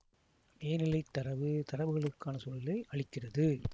மேனிலைத் தரவு தரவுகளுக்கான சூழலை அளிக்கிறது